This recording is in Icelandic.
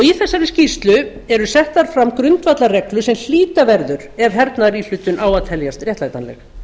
í þessari skýrslu eru settar fram grundvallarreglur sem hlíta verður ef hernaðaríhlutun á að teljast réttlætanleg